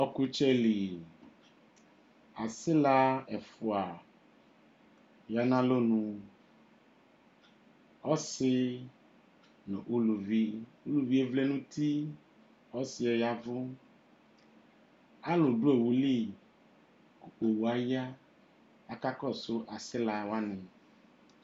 Ɔkʋtsɛ li, asila ɛfua ya nʋ alɔ nuƆsi nʋ uluvi, uluvi e vlɛ nʋ uti, ɔsi yɛ yavʋ Alʋ dʋ owʋ li, owu yɛ aya Akakɔsʋ asila wani